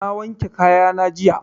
Na wanke kaya na jiya.